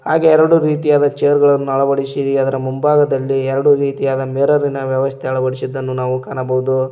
ಹಾಗೆ ಎರಡು ರೀತಿಯಾದ ಚೇರ್ ಗಳನ್ನು ಅಳವಡಿಸಿ ಅದರ ಮುಂಭಾಗದಲ್ಲಿ ಎರಡು ರೀತಿಯಾದ ಮಿರರಿನ ವ್ಯವಸ್ಥೆ ಅಳವಡಿಸಿದ್ದನ್ನು ನಾವು ಕಾಣಬೋದು.